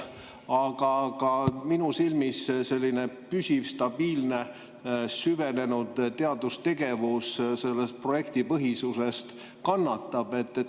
Aga minu silmis püsiv, stabiilne, süvenenud teadustegevus kannatab selle projektipõhisuse pärast.